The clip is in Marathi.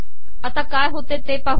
आता काय होते ते पाह